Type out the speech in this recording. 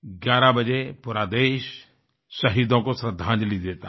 11 बजे पूरा देश शहीदों को श्रद्धांजलि देता है